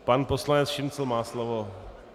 Pan poslanec Šincl má slovo.